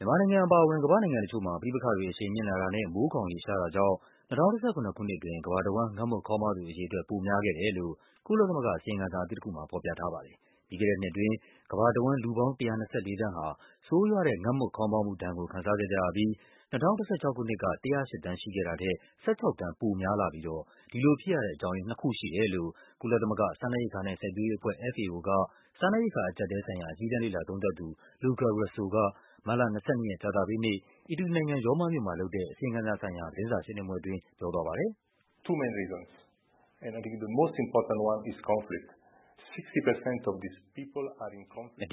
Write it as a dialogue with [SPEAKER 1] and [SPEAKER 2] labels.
[SPEAKER 1] မြန်မာနိုင်ငံအပါအဝင် ကမ္ဘာ့နိုင်ငံတချို့မှာ ပဋိပက္ခတွေ အရှိန်မြင့်လာတာနဲ့ မိုးခေါင်ရေရှား တာကြောင့် ၂၀၁၇ ခုနှစ်အတွင်း ကမ္ဘာ တဝန်း ငတ်မွတ်ခေါင်းပါးသူ အရေအတွက် ပိုများခဲ့တယ်လို့ ကုလသမဂ္ဂ အစီရင်ခံစာအသစ်တခုမှာ ဖော်ပြထားပါတယ်။ ပြီးခဲ့တဲ့နှစ်အတွင်း ကမ္ဘာတဝန်း လူပေါင်း ၁၂၄ သန်းဟာ ဆိုးရွားတဲ့ ငတ်မွတ်ခေါင်းပါးမှုဒဏ်ကို ခံစားခဲ့ကြရပြီး ၂၀၁၆ ခုနှစ်က ၁၀၈ သန်းရှိခဲ့တာထက် ၁၆ သန်းပိုများလာပြီး ဒီလိုဖြစ်ရတဲ့အကြောင်းရင်း နှစ်ခုရှိတယ်လို့ ကုလသမဂ္ဂ စားနပ်ရိက္ခာနဲ့ စိုက်ပျိုးရေး အဖွဲ့ FAO က စားနပ်ရိက္ခာအကျပ်အတည်းဆိုင်ရာ အကြီးတန်းလေ့လာ သုံးသပ်သူ Luca Russo က မတ်လ ၂၂ ရက်၊ ကြာသပတေးနေ့ အီတလီနိုင်ငံ၊ ရောမမြို့မှာလုပ်တဲ့ အစီရင်ခံစာဆိုင်ရာ သတင်းစာရှင်းလင်းပွဲအတွင်း ပြောသွားပါတယ်။ “အ